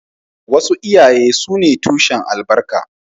Wasu iyaye sune tushen albarka